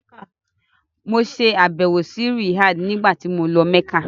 Mo ṣe àbẹ̀wò sí Riyadh nígbàtí mo lọ Mẹ́kà.